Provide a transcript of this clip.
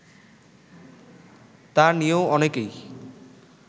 তা নিয়েও অনেকেই